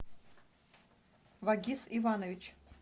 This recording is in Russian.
вагиз иванович